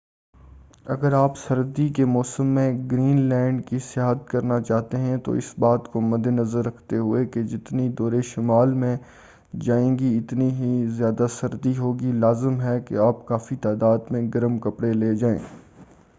اگر آپ سردی کے موسم میں گرین لینڈ کی سیاحت کرنا چاہتے ہیں تو اس بات کو مدِ نظر رکھتے ہوئے کہ جتنی دور شمال میں جائیں گے اتنی ہی زیادہ سردی ہو گی لازم ہے کہ آپ کافی تعداد میں گرم کپڑے لے جائیں۔